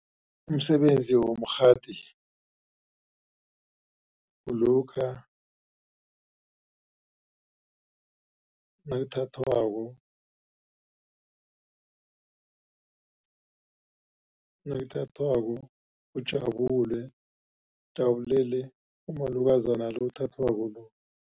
Umsebenzi womkghadi kulokha nakuthathwako, nakuthathwako ujabule ujabulele umalokazana lo othathwako lo.